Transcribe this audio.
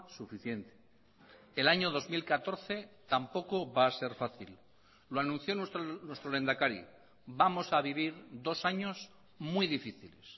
suficiente el año dos mil catorce tampoco va a ser fácil lo anunció nuestro lehendakari vamos a vivir dos años muy difíciles